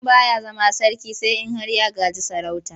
Mutum ba ya zama sarki sai in har ya gaji sarauta.